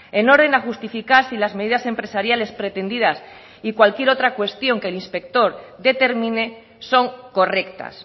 en orden a justificar si las medidas empresariales pretendidas y cualquier otra cuestión que el inspector determine son correctas